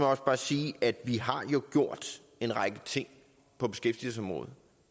også bare sige at vi jo har gjort en række ting på beskæftigelsesområdet